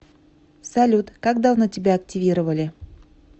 салют как давно тебя активировали